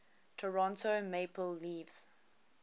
toronto maple leafs